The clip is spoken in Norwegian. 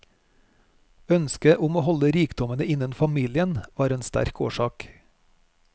Ønsket om å holde rikdommene innen familien var en sterk årsak.